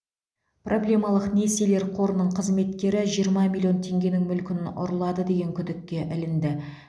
проблемалық несиелер қорының қызметкері жиырма миллион теңгенің мүлкін ұрлады деген күдікке ілінді